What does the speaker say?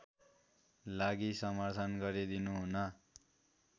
लागि समर्थन गरिदिनुहुन